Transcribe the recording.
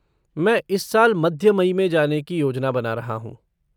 मैं इस साल मध्य मई में जाने की योजना बना रहा हूँ।